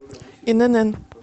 инн